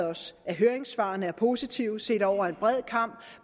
os at høringssvarene er positive set over en bred kam